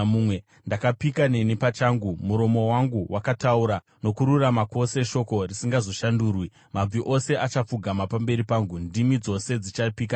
Ndakapika neni pachangu, muromo wangu wakataura nokururama kwose shoko risingazoshandurwi: Mabvi ose achapfugama pamberi pangu; ndimi dzose dzichapika neni.